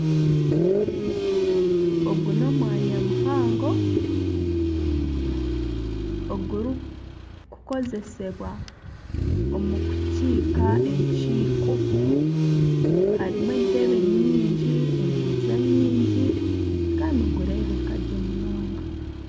Ogu n'omwanya muhango ogurikukozesibwa omu kiika ekiiko harimu entebe nyingi, emeeza nyingi kandi nigureebeka gye munonga.